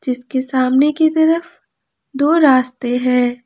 जिसके सामने की तरफ दो रास्ते है।